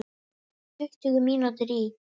Tuttugu mínútur í